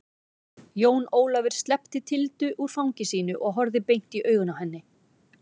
Jón Ólafur sleppti Tildu úr fangi sínu og horfði beint i augun á henni.